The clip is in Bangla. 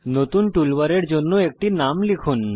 নতুন টুলবারের জন্য একটি নাম লিখুন